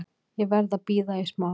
Ég verð að bíða í smá.